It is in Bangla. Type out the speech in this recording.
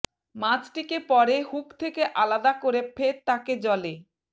মাছটিকে পরে হুক থেকে আলাদা করে ফের তাঁকে জলে